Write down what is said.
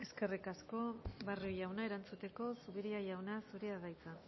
eskerrik asko barrio jauna erantzuteko zupiria jauna zurea da hitza